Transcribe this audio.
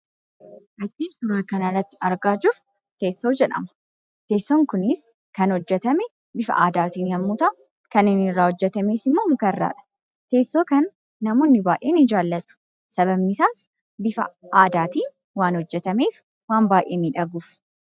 Wanti suuraa kana irratti argaa jirru teessoo jedhama. Teessoon kunis kan hojjetame bifa aadaatiin yemmuu ta'u, kan inni irraa hojjetames immoo muka irraadha. Teessoo kana namoonni baay'een ni jaallatu. Sababni isaas bifa aadaatiin waan hojjetameef waan baay'ee miidhaguufi.